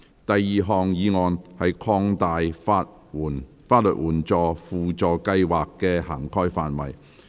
第二項議案：擴大法律援助輔助計劃的涵蓋範圍。